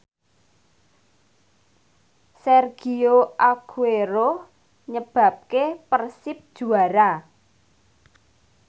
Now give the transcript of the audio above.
Sergio Aguero nyebabke Persib juara